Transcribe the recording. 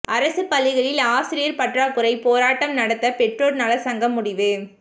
அரசு பள்ளிகளில் ஆசிரியர் பற்றாக்குறை போராட்டம் நடத்த பெற்றோர் நலச்சங்கம் முடிவு